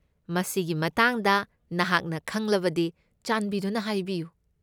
ꯃꯁꯤꯒꯤ ꯃꯇꯥꯡꯗ ꯅꯍꯥꯛꯅ ꯈꯪꯂꯕꯗꯤ ꯆꯥꯟꯕꯤꯗꯨꯅ ꯍꯥꯏꯕꯤꯌꯨ꯫